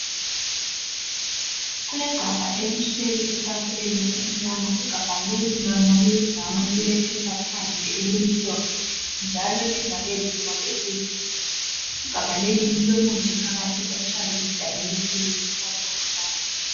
Kulegabha elihleli etafuleni emnyama igabha leli lona liyi brown lilephepha phandle elimhlophe njalo livaliwe ngesivalo esiyi-blue lilomuthi phakathi othiwa yi- dimethyl sulphoxide.